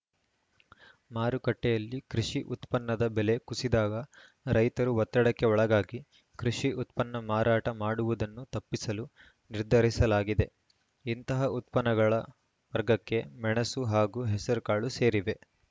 ಮಾರುಕಟ್ಟೆಯಲ್ಲಿ ಕೃಷಿ ಉತ್ಪನ್ನದ ಬೆಲೆ ಕುಸಿದಾಗ ರೈತರು ಒತ್ತಡಕ್ಕೆ ಒಳಗಾಗಿ ಕೃಷಿ ಉತ್ಪನ್ನ ಮಾರಾಟ ಮಾಡುವುದನ್ನು ತಪ್ಪಿಸಲು ನಿರ್ಧರಿಸಲಾಗಿದೆ ಇಂತಹ ಉತ್ಪನ್ನಗಳ ವರ್ಗಕ್ಕೆ ಮೆಣಸು ಹಾಗೂ ಹೆಸರುಕಾಳು ಸೇರಿವೆ